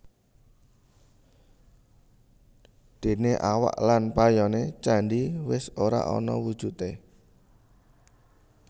Déné awak lan payoné candhi wis ora ana wujudé